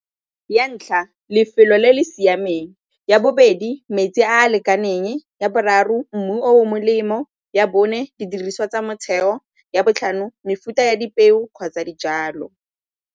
Ya ntlha, lefelo le le siameng. Ya bobedi, metsi a a lekaneng. Ya boraro, mmu melemo. Ya bone, didiriswa tsa motheo. Ya botlhano, mefuta ya dipeo kgotsa dijalo.